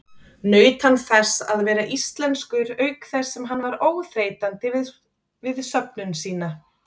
Naut hann þess að vera íslenskur auk þess sem hann var óþreytandi við söfnun sína.